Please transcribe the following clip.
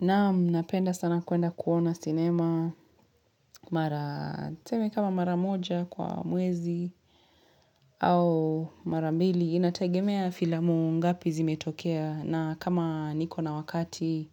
Naam napenda sana kuenda kuona sinema, mara tuseme kama mara moja kwa mwezi au mara mbili. Inategemea filamu ngapi zimetokea na kama niko na wakati,